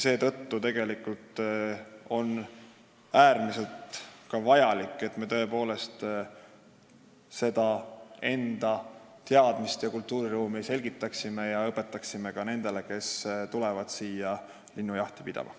Seetõttu on äärmiselt vajalik, et me tõepoolest õpetaksime neid teadmisi ja selgitaksime enda kultuuriruumi ka nendele, kes tulevad siia linnujahti pidama.